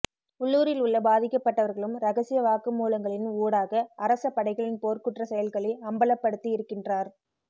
உள்ளுரில் உள்ள பாதிக்கப்பட்டவர்களும் இரகசிய வாக்குமூலங்களின் ஊடாக அரச படைகளின் போர்க்குற்றச் செயல்களை அம்பலப்படுத்தியிருக்கின்றார்